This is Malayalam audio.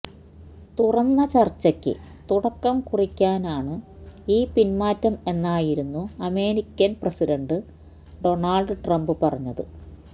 തുറന്ന ചർച്ചയ്ക്ക് തുടക്കംകുറിക്കാനാണ് ഈ പിന്മാറ്റം എന്നായിരുന്നു അമേരിക്കൻ പ്രസിഡന്റ് ഡോണൾഡ് ട്രംപ് പറഞ്ഞത്